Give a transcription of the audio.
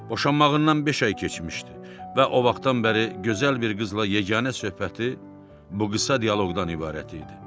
Boşanmağından beş ay keçmişdi və o vaxtdan bəri gözəl bir qızla yeganə söhbəti bu qısa dialoqdan ibarət idi.